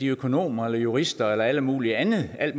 økonomer eller jurister eller alt mulig andet af